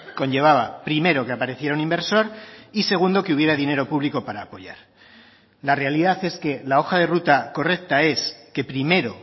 conllevaba primero que apareciera un inversor y segundo que hubiera dinero público para apoyar la realidad es que la hoja de ruta correcta es que primero